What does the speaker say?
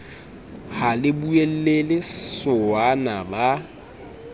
ha le boulelle sowana ba